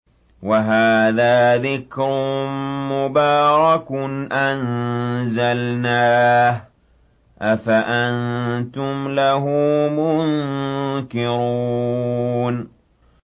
وَهَٰذَا ذِكْرٌ مُّبَارَكٌ أَنزَلْنَاهُ ۚ أَفَأَنتُمْ لَهُ مُنكِرُونَ